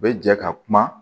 U bɛ jɛ ka kuma